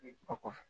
O kɔfɛ